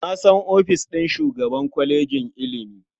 Na san ofishin shugaban kwalejin ilimi.